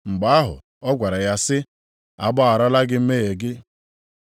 Mgbe ahụ ọ gwara ya sị, “A gbagharala gị mmehie gị.”